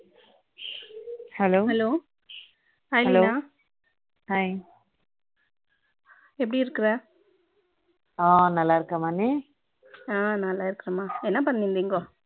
hello hello hi Leela hi எப்படி இருக்கற ஆஹ் நல்ல இருக்கேன் மா நீ ஆ நல்ல இருக்கேன் மா என்ன பண்ணுறீங்கோ